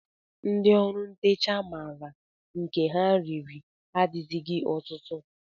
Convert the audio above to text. Ndị ọrụ ntecha maara nke ha riri adịzighị ọtụtụ